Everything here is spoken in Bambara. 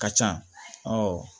Ka ca awɔ